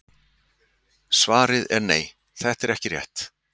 Svarið er nei: Þetta er ekki rétt.